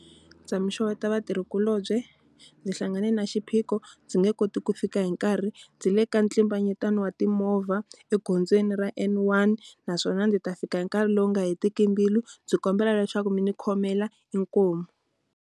Ndza mi xeweta vatirhikulobye. Ndzi hlangane na xiphiqo ndzi nge koti ku fika hi nkarhi ndzi le ka ntlimbanyetano wa timovha egondzweni ra N one, naswona ndzi ta fika hi nkarhi lowu nga hetiki mbilu. Ndzi kombela leswaku mi ni khomela, inkomu.